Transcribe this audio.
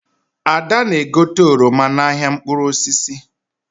Ada na-egote oroma n'ahịa mkpụrụ osisi.